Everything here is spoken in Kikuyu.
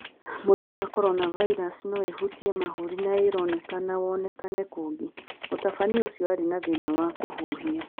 Mũrimũ wa Corona virus no ĩhutie mahũri na ĩroneka wonekane kũngĩ, Mũtabania ũcio aarĩ na thĩna wa kũhuhia.